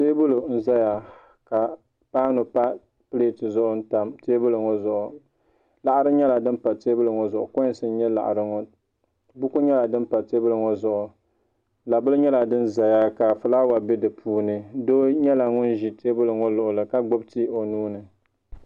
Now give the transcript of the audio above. Teebuli n ʒɛya ka paanu tam pileeti zuɣu n tam teebuli ŋo zuɣu laɣari nyɛla din pa teebuli ŋo zuɣu koins n nyɛ laɣari ŋo buku nyɛla din pa teebuli ŋo zuɣu labili nyɛla din ʒɛya ka fulaawa bɛ di puuni doo nyɛla ŋun ʒi teebuli ŋo luɣuli ka gbubi tii o nuuni